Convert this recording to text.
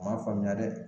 A ma faamuya dɛ